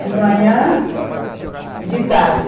De manhã, de tarde.